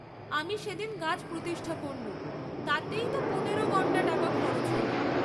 আমি সেদিন গাছ প্রতিষ্ঠা করনু, তাতেইত পনেরো গণ্ডা টাকা খরচ হােল।